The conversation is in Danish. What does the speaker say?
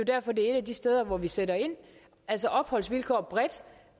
derfor det er et af de steder hvor vi sætter ind altså opholdsvilkår bredt